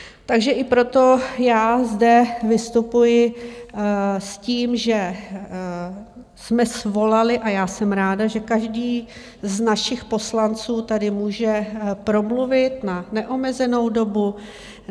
Takže i proto já zde vystupuji s tím, že jsme svolali, a já jsem ráda, že každý z našich poslanců tady může promluvit, má neomezenou dobu.